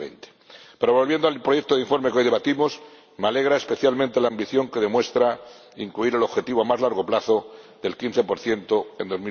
2020. Pero volviendo al proyecto de informe que hoy debatimos, me alegra especialmente la ambición que demuestra al incluir el objetivo a más largo plazo del 15 en